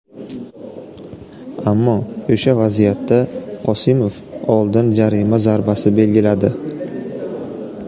Ammo o‘sha vaziyatda Qosimov oldin jarima zarbasi belgiladi.